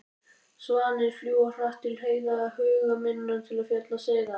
Svanir fljúga hratt til heiða, huga minn til fjalla seiða.